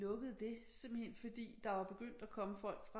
Lukkede det simpelthen fordi der var begyndt at komme folk fra